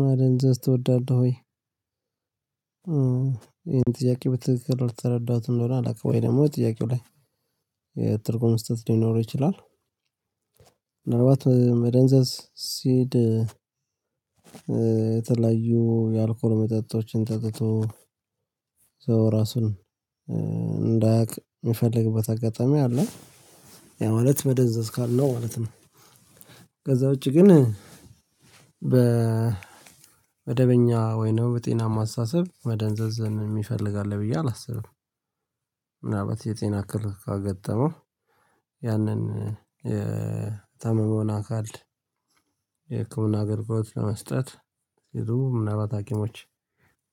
ማደንዘዝ ትወዳለህ ወይ? ይሄን ጥያቄ በትክክል አልተረዳሁትም እንደሆነ አላውቅም ወይ ደግሞ ጥያቄው ላይ የትርጉም ስህተት ሊኖረው ይችላል። ምናልባት መደንዘዝ ሲል የተለያዩ የአልኮል መጠጦችን ጠጥቶ ሰው ራሱን እንዳያውቅ የሚፈልግበት አጋጣሚ አለ። ያው ማለት መደንዘዝ ካልነው ማለት ነው። ከዛ ውጪ ግን በመደበኛ በእኛ ወይም በጠናማ አስተሳሰብ መደንዘዝን የሚፈልግ አለ ብዬ አላስብም። ምናልባት የጤና እክል ካጋጠመው ያንን የታመመውን አካል የህክምና አገልግሎት ለመስጠት ሲሉ ምናልባት ሀኪሞች